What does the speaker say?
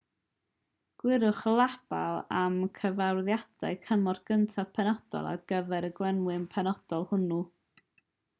gwiriwch y label am gyfarwyddiadau cymorth cyntaf penodol ar gyfer y gwenwyn penodol hwnnw